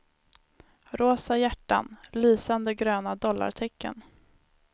Rosa hjärtan, lysande gröna dollartecken.